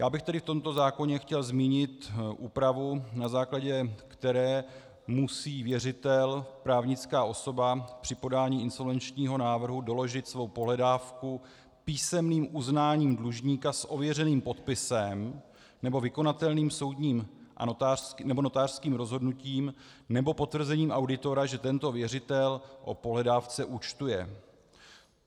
Já bych tedy v tomto zákoně chtěl zmínit úpravu, na základě které musí věřitel - právnická osoba - při podání insolvenčního návrhu doložit svou pohledávku písemným uznáním dlužníka s ověřeným podpisem nebo vykonatelným soudním nebo notářským rozhodnutím nebo potvrzením auditora, že tento věřitel o pohledávce účtuje.